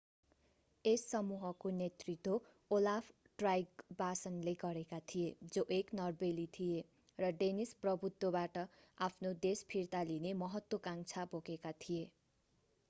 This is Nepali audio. यस समूहको नेतृत्व ओलाफ ट्राइगवासनले गरेका थिए जो एक नर्वेली थिए र डेनिस प्रभुत्वबाट आफ्नो देश फिर्ता लिने महत्त्वकांक्षा बोकेका थिए